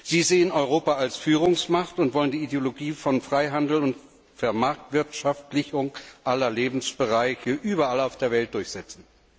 Sie sehen Europa als Führungsmacht und wollen die Ideologie von Freihandel und Vermarktwirtschaftlichung aller Lebensbereiche überall auf der Welt durchsetzen.